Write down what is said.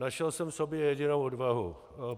Našel jsem v sobě jedinou odvahu.